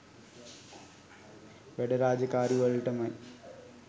වැඩ රාජකාරි වලටමයි.